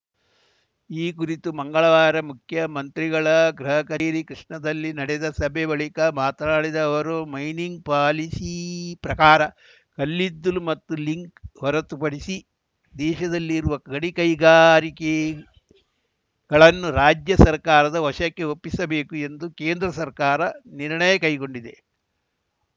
ಈ ಕುರಿತು ಮಂಗಳವಾರ ಮುಖ್ಯಮಂತ್ರಿಗಳ ಗೃಹ ಕಚೇರಿ ಕೃಷ್ಣಾದಲ್ಲಿ ನಡೆದ ಸಭೆ ಬಳಿಕ ಮಾತನಾಡಿದ ಅವರು ಮೈನಿಂಗ್‌ ಪಾಲಿಸಿ ಪ್ರಕಾರ ಕಲ್ಲಿದ್ದಲು ಮತ್ತು ಲಿಂಕ್‌ ಹೊರತುಪಡಿಸಿ ದೇಶದಲ್ಲಿರುವ ಗಣಿಕೈಗಾರಿಕೆಗಳನ್ನು ರಾಜ್ಯ ಸರ್ಕಾರದ ವಶಕ್ಕೆ ಒಪ್ಪಿಸಬೇಕು ಎಂದು ಕೇಂದ್ರ ಸರ್ಕಾರ ನಿರ್ಣಯ ಕೈಗೊಂಡಿದೆ